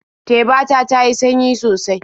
Teba ta ta yi sanyi sosai.